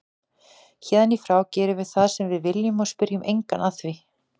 Héðan í frá gerum við það sem við viljum og spyrjum engan að því.